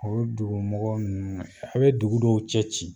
O dugumɔgɔ nunnu a bɛ dugu dɔw cɛ ci